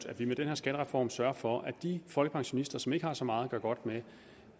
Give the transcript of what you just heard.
at vi med den her skattereform sørger for at de folkepensionister som ikke har så meget at gøre godt med